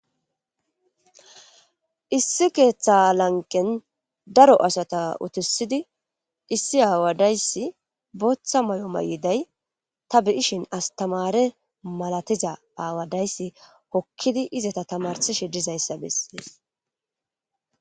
issi keeththa lanqen daro asata utisidi issi aawadayssi booththa may7o may7iday ta bi7ishin astamare malatiza aawadayssi hokkidi izata tamarsi shidizayssa bessiees